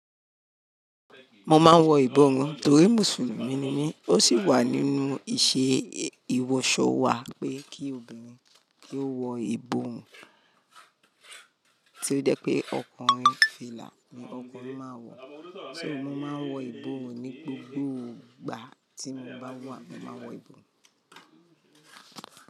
Mo máa ń wọ ìborùn torí Mùsùlùmí ni mí ó sì wà nínú ìṣe ìwọsọ wà pé kí obìnrin kí ó wọ ìborùn tí ó jẹ́ pé ọkùnrin fìlà ní ọkùnrin máa ń wọ, so mo maa wọ ìborùn ní gbogbo ìgbà tí mo bá wà, mo maa wọ ìborùn.